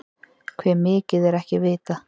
Hve mikið er ekki vitað.